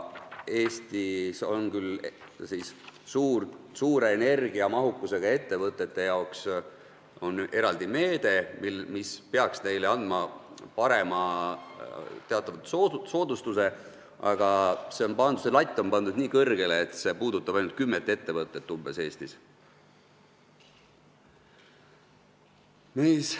Eestis on küll suure energiamahukusega ettevõtete jaoks eraldi meede, mis peaks neile andma teatava soodustuse, aga see latt on pandud nii kõrgele, et see puudutab ainult umbes kümmet ettevõtet.